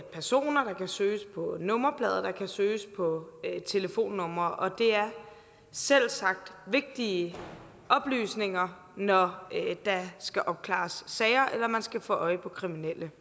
personer der kan søges på nummerplader og der kan søges på telefonnumre og det er selvsagt vigtige oplysninger når der skal opklares sager eller man skal få øje på kriminelle